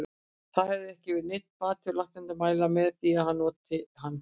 Það hefur ekki verið neinn bati og læknarnir mæla með því að ég noti hann.